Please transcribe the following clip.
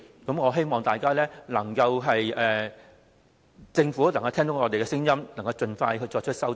我希望政府能聽到我們的聲音，盡快作出修正。